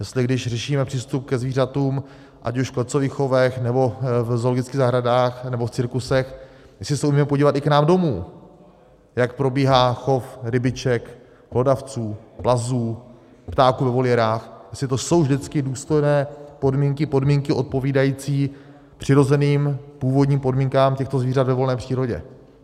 Jestli když řešíme přístup ke zvířatům ať už v klecových chovech, nebo v zoologických zahradách, nebo v cirkusech, jestli se umíme podívat i k nám domů, jak probíhá chov rybiček, hlodavců, plazů, ptáků ve voliérách, jestli to jsou vždycky důstojné podmínky, podmínky odpovídající přirozeným původním podmínkám těchto zvířat ve volné přírodě.